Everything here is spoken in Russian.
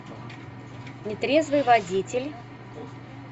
нетрезвый водитель